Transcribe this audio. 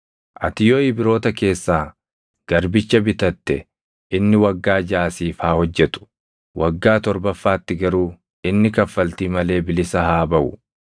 “Ati yoo Ibroota keessaa garbicha bitatte inni waggaa jaʼa siif haa hojjetu. Waggaa torbaffaatti garuu inni kaffaltii malee bilisa haa baʼu.